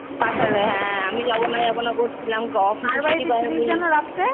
পাঠালে হ্যাঁ আমি যাবোনা যাবোনা করছিলাম।